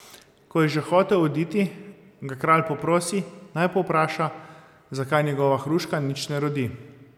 Ko pa je že hotel oditi, ga kralj poprosi, naj povpraša, zakaj njegova hruška nič ne rodi.